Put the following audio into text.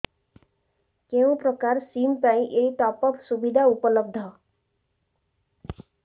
କେଉଁ ପ୍ରକାର ସିମ୍ ପାଇଁ ଏଇ ଟପ୍ଅପ୍ ସୁବିଧା ଉପଲବ୍ଧ